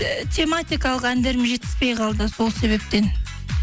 і тематикалық әндерім жетіспей қалды сол себептен